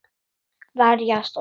Verjast og sækja.